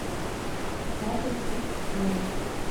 адрес икс сервис